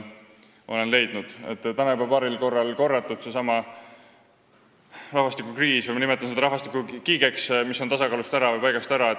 Täna juba paaril korral mainitud rahvastikukriisi nimetan mina rahvastikukiigeks, mis on tasakaalust või paigast ära.